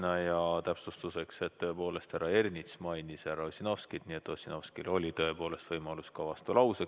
Ütlen täpsustuseks, et tõepoolest, härra Ernits mainis härra Ossinovskit, nii et Ossinovskil oli tõepoolest võimalus ka vastulauseks.